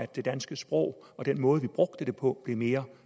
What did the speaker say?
det danske sprog og den måde vi brugte det på blev mere